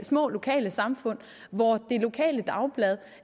små lokalsamfund hvor det lokale dagblad